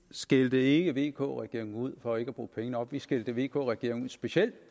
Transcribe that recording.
skældte ikke vk regeringen ud for ikke at bruge penge nok vi skældte vk regeringen ud specielt